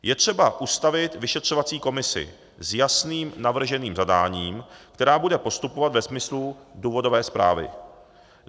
Je třeba ustavit vyšetřovací komisi s jasným navrženým zadáním, která bude postupovat ve smyslu důvodové zprávy.